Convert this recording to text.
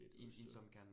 Lidt udstyr